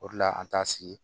O de la an t'a sigi